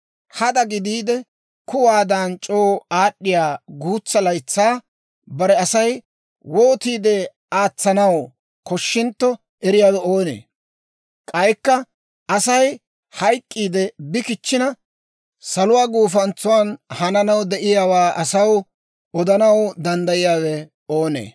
Hada gidiide, kuwaadan c'oo aad'd'iyaa guutsa laytsaa bare Asay wootiide aatsanaw koshshintto eriyaawe oonee? K'aykka Asay hayk'k'iide bi kichchina, saluwaa gufantsan hananaw de'iyaawaa asaw odanaw danddayiyaawe oonee?